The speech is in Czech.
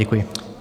Děkuji.